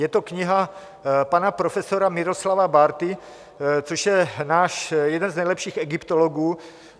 Je to kniha pana profesora Miroslava Bárty, což je náš jeden z nejlepších egyptologů.